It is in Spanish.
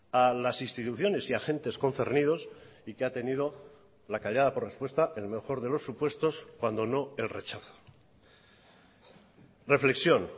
a las instituciones y agentes concernidos y que ha tenido la callada por respuesta en el mejor de los supuestos cuando no el rechazo reflexión